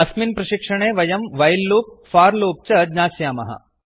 अस्मिन् प्रशिक्षणे वयं व्हिले लूप् फोर लूप् च ज्ञास्यामः